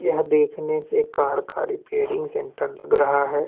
यह देखने से कार का रिपेरिंग सेण्टर लग रहा है।